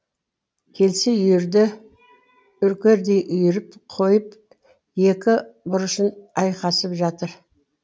келсе үйірді үркердей үйіріп қойып екі буршын айқасып жатыр